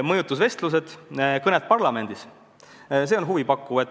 Mõjutusvestlused, kõned parlamendis – see on huvipakkuv.